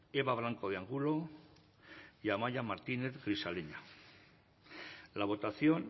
eva blanco de angulo y amaia martínez grisaleña la votación